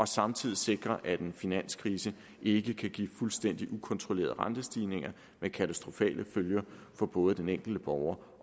samtidig sikrer at en finanskrise ikke kan give fuldstændig ukontrollerede rentestigninger med katastrofale følger for både den enkelte borger